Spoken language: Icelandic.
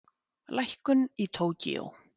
Lækkun í Tókýó